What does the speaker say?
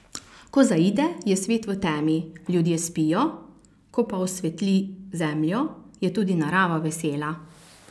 Ko zaide, je svet v temi, ljudje spijo, ko pa osveti zemljo, je tudi narava vesela.